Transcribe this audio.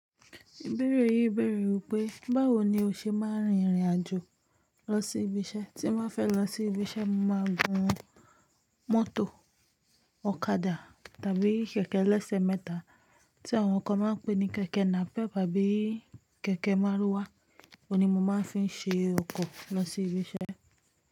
Ìbéèrè yìí bèèrè wípé, báwo ni o ṣe máa ń rìnrìn àjò lọ sí ibi iṣẹ́? Tí mo fẹ́ lọ sí ibi iṣẹ́, màá gun mọ́tò ọ̀kadà tàbí kẹ̀kẹ́ ẹlẹ́sẹ̀ mẹ́ta tí àwọn kan máa ń pè ní kẹ̀kẹ́ nàpẹ́ pàbí kẹ̀kẹ́ márúwá. Ó ni mo máa ń fi ṣe ọkọ̀ lọ sí ibi iṣẹ́